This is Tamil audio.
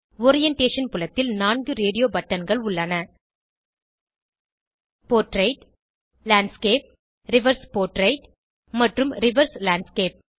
ஓரியன்டேஷன் புலத்தில் 4 ரேடியோ பட்டன்கள் உள்ளன போர்ட்ரெய்ட் லேண்ட்ஸ்கேப் ரிவர்ஸ் போர்ட்ரெய்ட் மற்றும் ரிவர்ஸ் லேண்ட்ஸ்கேப்